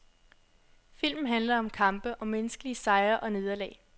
Filmen handler om kampe, om menneskelige sejre og nederlag.